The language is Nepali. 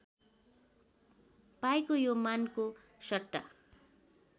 पाईको यो मानको सट्टा